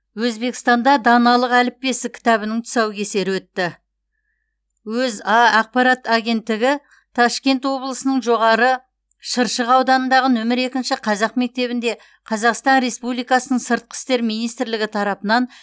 өзбекстанда даналық әліппесі кітабының тұсаукесері өтті өза ақпарат агенттігі ташкент облысының жоғары шыршық ауданындағы нөмір екінші қазақ мектебінде қазақстан республикасының сыртқы істер министрлігі тарапынан